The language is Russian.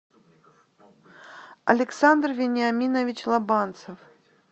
александр вениаминович лобанцев